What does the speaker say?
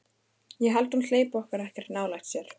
Ég held að hún hleypi honum ekkert nálægt sér.